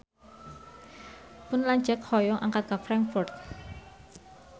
Pun lanceuk hoyong angkat ka Frankfurt